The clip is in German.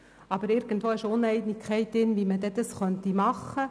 Aber irgendwie besteht, wie das Problem angegangen werden soll.